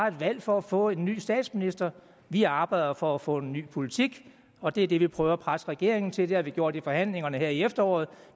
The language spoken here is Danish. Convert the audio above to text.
et valg for at få en ny statsminister vi arbejder for at få en ny politik og det er det vi prøver at presse regeringen til det har vi gjort i forhandlingerne her i efteråret og